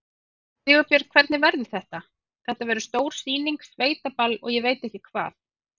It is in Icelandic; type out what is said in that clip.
Sigurbjörn, hvernig verður þetta, þetta verður stór sýning, sveitaball og ég veit ekki hvað?